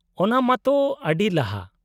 -ᱚᱱᱟ ᱢᱟ ᱛᱚ ᱟᱹᱰᱤ ᱞᱟᱦᱟ ᱾